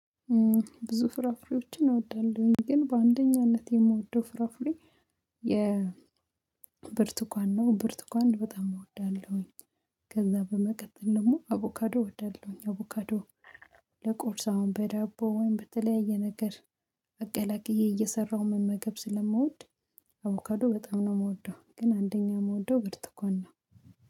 ብዙ ፍራፍሬዎችን እወዳለሁኝ ግን በአንደኛነት የምወደው ፍራፍሬ የ ብርት ነው ብርቱኳን በጣም እወዳለሁኝ። ከዛ በመቀጠል ደግሞ አቮካዶ እወዳለሁኝ። አቮካዶ ለቁርስ አሁን በዳቦ ወይም በተለያየ ነገር አቀላቅዬ እየሰራሁ መመገብ ስለምወድ። አቮከዶ በጣም ነው የምወደው ግን አንደኛ የምወደው ብርቱካን ነው።